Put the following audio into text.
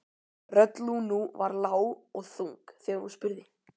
Rödd Lúnu var lág og þung þegar hún spurði